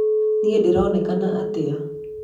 niĩ ndĩronekana atĩa?